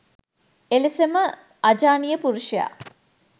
එලෙසම අජානීය පුරුෂයා